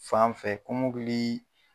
Fan fɛ kɔmɔkili